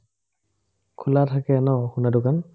খোলা থাকে ন খুন্দা দোকান